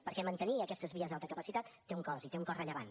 perquè mantenir aquestes vies d’alta capacitat té un cost i té un cost rellevant